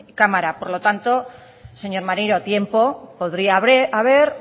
cámara por lo tanto señor maneiro tiempo podría haber